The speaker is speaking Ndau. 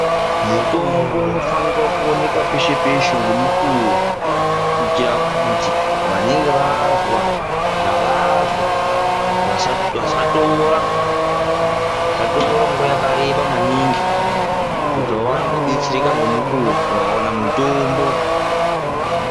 Mutombo unofanikwa kuonekwa peshe peshe ngemukuwo kuitira kuti vanenge vazwa zvavazwa vasatora nguwa yakareba maningi kuti vaone kubetsereka ngemukuwo vakaona mutombo.